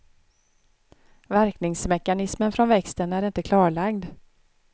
Verkningsmekanismen från växten är inte klarlagd.